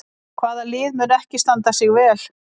Hvaða lið mun ekki standa sig vel?